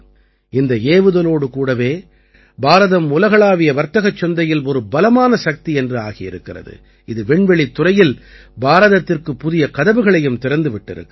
இந்த ஏவுதலோடு கூடவே பாரதம் உலகளாவிய வர்த்தகச் சந்தையில் ஒரு பலமான சக்தி என்று ஆகி இருக்கிறது இது விண்வெளித்துறையில் பாரதத்திற்குப் புதிய கதவுகளையும் திறந்து விட்டிருக்கிறது